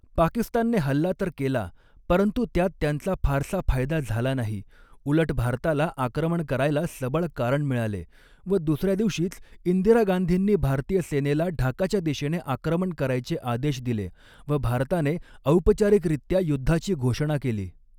पाकिस्तानने हल्ला तर केला परंतु त्यात त्यांचा फारसा फायदा झाला नाही उलट भारताला आक्रमण करायला सबळ कारण मिळाले व दुसऱ्या दिवशीच इंदिरा गांधींनी भारतीय सेनेला ढाकाच्या दिशेने आक्रमण करायचे आदेश दिले व भारताने औपचारिकरित्या युद्धाची घोषणा केली.